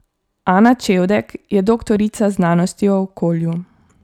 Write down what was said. Ana Čevdek je doktorica znanosti o okolju.